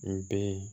N den